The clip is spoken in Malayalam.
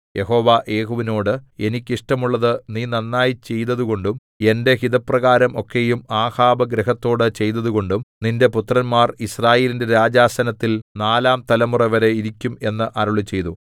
യഹോവ യേഹൂവിനോട് എനിക്ക് ഇഷ്ടമുള്ളത് നീ നന്നായി ചെയ്തതുകൊണ്ടും എന്റെ ഹിതപ്രകാരം ഒക്കെയും ആഹാബ് ഗൃഹത്തോട് ചെയ്തതുകൊണ്ടും നിന്റെ പുത്രന്മാർ യിസ്രായേലിന്റെ രാജാസനത്തിൽ നാലാം തലമുറവരെ ഇരിക്കും എന്ന് അരുളിച്ചെയ്തു